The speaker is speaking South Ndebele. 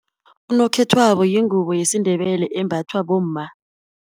Unokhethwabo ingubo yesiNdebele embathwa bomma.